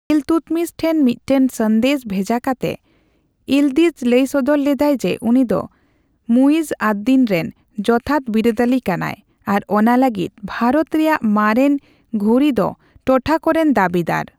ᱤᱞᱛᱩᱛᱢᱤᱥ ᱴᱷᱮᱱ ᱢᱤᱫᱴᱟᱝ ᱥᱟᱸᱫᱮᱥ ᱵᱷᱮᱡᱟ ᱠᱟᱛᱮ ᱤᱞᱫᱤᱡᱽ ᱞᱟᱹᱭ ᱥᱚᱫᱚᱨ ᱞᱮᱫᱟᱭ ᱡᱮ, ᱩᱱᱤᱫᱚ ᱢᱩᱤᱡᱽᱼᱟᱫᱽᱼᱫᱤᱱ ᱨᱮᱱ ᱡᱚᱛᱷᱟᱛ ᱵᱤᱨᱟᱹᱫᱟᱹᱞᱤ ᱠᱟᱱᱟᱭ, ᱟᱨ ᱚᱱᱟ ᱞᱟᱹᱜᱤᱫ ᱵᱷᱟᱨᱚᱛ ᱨᱮᱭᱟᱜ ᱢᱟᱨᱮᱱ ᱜᱷᱩᱨᱤᱫᱽ ᱴᱚᱴᱷᱟᱠᱚ ᱨᱮᱱ ᱫᱟᱹᱵᱤᱫᱟᱨ᱾